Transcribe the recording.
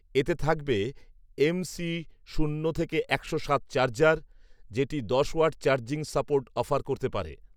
এতে থাকবে এমসি শূন্য থেকে একশো সাত চার্জার, যেটি দশ ওয়াট চার্জিং সাপোর্ট অফার করতে পারে